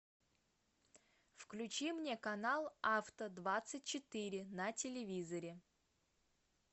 включи мне канал авто двадцать четыре на телевизоре